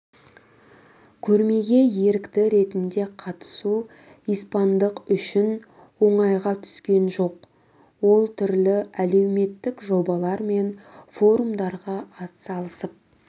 көрмеге ерікті ретінде қатысу испандық үшін оңайға түскен жоқ ол түрлі әлеуметтік жобалар мен форумдарға атсалысып